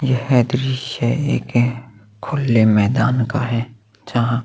यह दृश्य एक खुल्ले मैदान का है जहाँ--